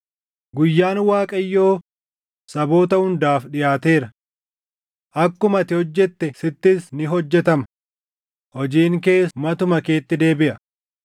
“Guyyaan Waaqayyoo saboota hundaaf dhiʼaateera. Akkuma ati hojjette sittis ni hojjetama; hojiin kees matuma keetti deebiʼa.